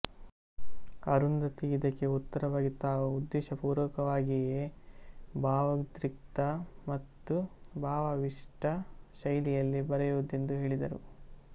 ಅರುಂಧತಿ ಇದಕ್ಕೆ ಉತ್ತರವಾಗಿ ತಾವು ಉದ್ದೇಶಪೂರ್ವಕವಾಗಿಯೇ ಭಾವೋದ್ರಿಕ್ತ ಮತ್ತು ಭಾವಾವಿಷ್ಠ ಶೈಲಿಯಲ್ಲಿ ಬರೆಯುವುದೆಂದು ಹೇಳಿದರು